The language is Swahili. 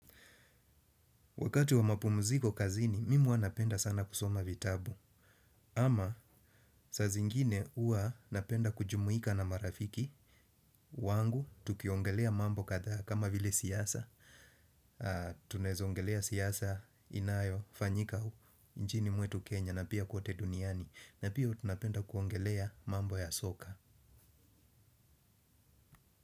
Wakati wa mapumuziko kazini, mimi hua napenda sana kusoma vitabu. Ama saa zingine ua napenda kujumuika na marafiki. Wangu, tukiongelea mambo kathaa kama vile siasa. Tunaeza ongelea siasa inayofanyika nchini mwetu Kenya na pia kwote duniani. Na pia tunapenda kwongelea mambo ya soka.